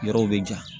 Yɔrɔw bɛ janya